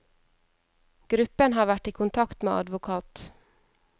Gruppen har vært i kontakt med advokat.